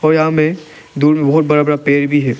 या मे दोनों बड़ा बड़ा पेड़ भी है।